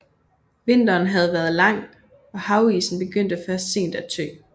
Vinteren havde været lang og havisen begyndte først sent at tø